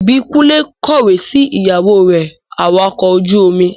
Ìbíkúnlé kọ̀wẹ́ sí ìyàwó rẹ̀ awakọ̀ ojú-omi